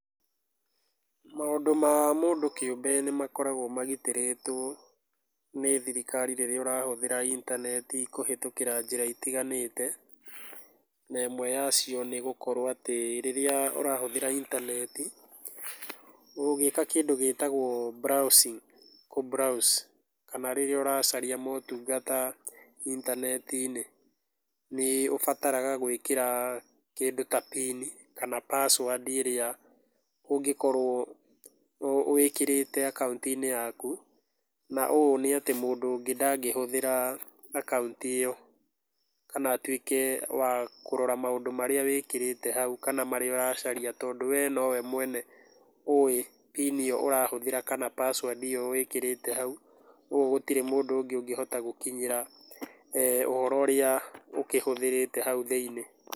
Maũndũ ma mũndũ kĩũmbe nĩmakoragwo magitĩrĩtwo nĩ thirikari rĩrĩa ũrahũthĩra intaneti kũhĩtũkĩra njĩra itiganĩte. Na ĩmwe yacio nĩgũkorwo atĩ rĩrĩa ũrahũthĩra intaneti, ũgĩka kĩndũ gĩtagũo browsing kũbrowse, kana rĩrĩa ũracaria motungata intaneti-inĩ, nĩũbataraga gwĩkĩra kĩndũ ta pini kana passwordi ĩrĩa ũngĩkorwo wĩkĩrĩte akaunti-inĩ yaku, na ũũ nĩatĩ mũndũ ũngĩ ndangĩhũthĩra akaunti ĩyo, kana atuĩke wa kũrora maũndũ marĩa wĩkĩrĩte hau, kana marĩa ũracaria, tondũ we nowe mwene ũwĩ pini ĩyo ũrahũthĩra kana passwordi ĩyo wĩkĩrĩte hau, ũũ gĩtirĩ mũndũ ũngĩ ũngĩhota gũkinyĩra ũhoro ũrĩa ũkĩhũthĩrĩte hau thĩiniĩ.